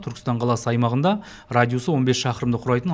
түркістан қаласы аймағында радиусы он бес шақырымды құрайтын